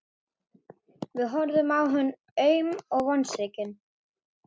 Við horfðum á hann aum og vonsvikin.